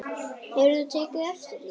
Hefur þú tekið eftir því?